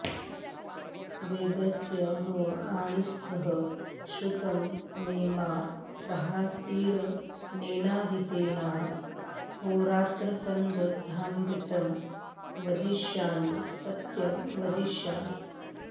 वेदस्य म आणीस्थः श्रुतं मे मा प्रहासीरनेनाधीतेनाहोरात्रान्सन्दधाम्यृतं वदिष्यामि सत्यं वदिष्यामि